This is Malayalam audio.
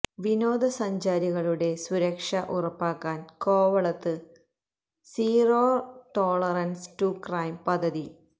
വിനോദസഞ്ചാരികളുടെ സുരക്ഷ ഉറപ്പാക്കാൻ കോവളത്ത് സീറോ ടോളറൻസ് ടു ക്രൈം പദ്ധതി